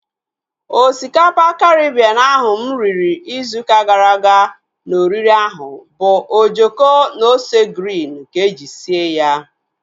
Osikapa Karibien ahụ mụ riri ịzụ ụka gara aga na oriri ahụ bu ojoko na ose griin ka eji sie ya